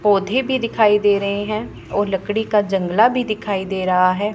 पोधै भी दिखाइ दे रहे हैं और लकड़ी का जंगला भी दिखाइ दे रहा है।